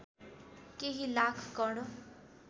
केही लाख कण